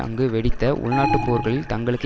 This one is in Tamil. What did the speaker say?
அங்கு வெடித்த உள்நாட்டுப்போர்களில் தங்களுக்கு